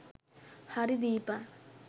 හරි දීපන්.